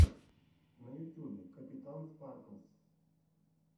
на ютюбе капитан спарклз